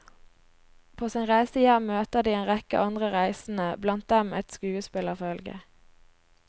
På sin reise hjem møter de en rekke andre reisende, blant dem et skuespillerfølge.